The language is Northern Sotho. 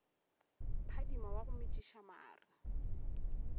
phadima wa go metšiša mare